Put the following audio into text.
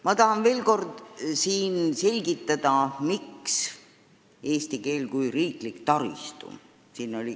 Ma tahan veel kord selgitada, miks on teemaks eesti keel kui riiklik taristu.